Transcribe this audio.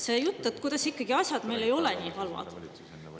See jutt, kuidas asjad ikkagi nii halvad ei ole.